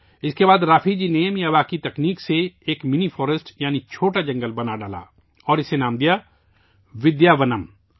اس کے بعد رافی جی نے میاواکی کی تکنیک سے ایک منی فاریسٹ یعنی چھوٹا جنگل بنایا اور اسے نام دیا ' ودیاونم'